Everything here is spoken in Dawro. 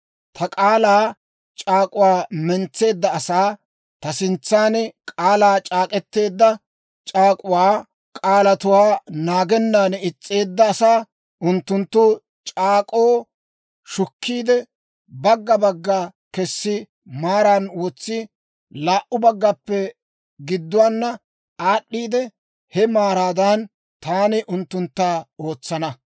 Ta k'aalaa c'aak'uwaa mentseedda asaa, ta sintsan k'aalaa c'aak'k'eteedda c'aak'uwaa k'aalatuwaa naagennan is's'eedda asaa, unttunttu c'aak'k'oo shukkiide, bagga bagga kessi maaran wotsiide, laa"u baggaappe gidduwaana aad'd'iide, he maraadan taani unttuntta ootsana.